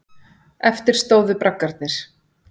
Eftir stóðu braggarnir.